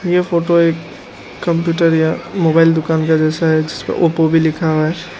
यह फोटो एक कंप्यूटर या मोबाइल दुकान का जैसा है जिसका ओप्पो भी लिखा हुआ है।